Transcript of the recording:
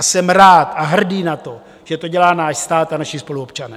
A jsem rád a hrdý na to, že to dělá náš stát a naši spoluobčané.